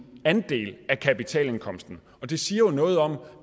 andel af kapitalindkomsten og det siger jo noget om